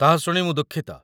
ତାହା ଶୁଣି ମୁଁ ଦୁଃଖିତ।